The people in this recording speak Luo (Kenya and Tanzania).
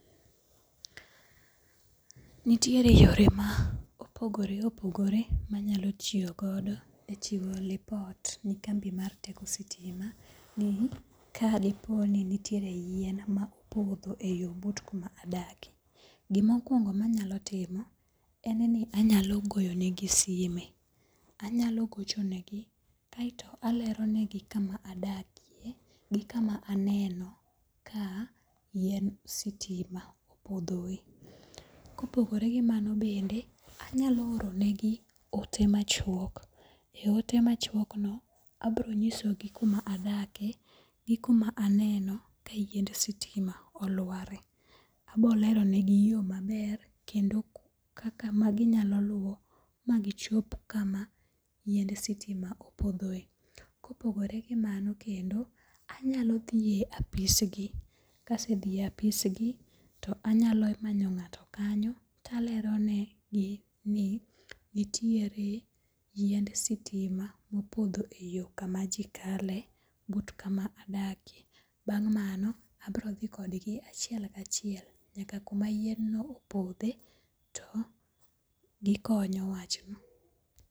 Nitiere yore ma opogore opogore manyalo tiyogodo e timo lipot ne kambi mar teko sitima ni ka diponi nitiere yien ma opotho e yo but kuma adakie. Gima okuongo manyalo timo en ni anyalo goyonegi sime. Anyalo gochonegi kaeto aleronegi kama adakie gi kama aneno ka yien sitima opothoe. Kopogore gi mano bende anyalo oronegi ote machuok. E ote machuokno abronyisogi kuma adake gi kuma aneno kayiend sitima olware. Abo leronegi yo maber kendo kaka maginyalo luwo magichop kama yiend sitima opothoe. Kopogore gi mano kendo, anyalo thie apisgi. Kasethie apisgi to anyalo manyo nga'to kanyo to aleronegi ni nitiere yiend sitima mopotho e yo kama ji kale but kama adakie. Bang' mano abrothi kodgi achiel kachiel nyaka yien no opodhe to gikonyo wach no.